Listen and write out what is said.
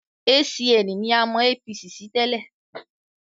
ACN ni a mọ APC sí tẹ́lẹ̀